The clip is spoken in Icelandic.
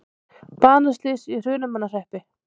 Banaslys í Hrunamannahreppi